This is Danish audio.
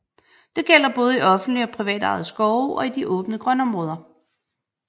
Det gælder både i offentligt og privatejede skove og i de åbne grønområder